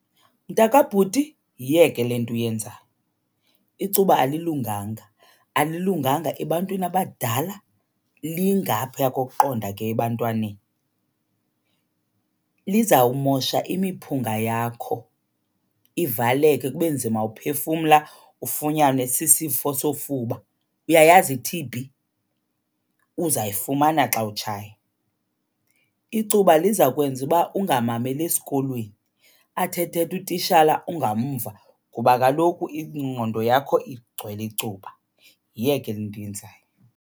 Mntakabhuti, yiyeke le nto uyenzayo. Icuba alilunganga, alilunganga ebantwini abadala, lingaphaya kokuqonda ke ebantwaneni. Lizawumosha imiphunga yakho ivaleke kube nzima uphefumla, ufunyanwe sisifo sofuba. Uyayazi i-T_B? Uzayifumana xa utshaya. Icuba liza kwenza uba ungamameli esikolweni, athi ethetha utishala ungamva ngoba kaloku ingqondo yakho igcwele icuba. Yiyeke le nto uyenzayo.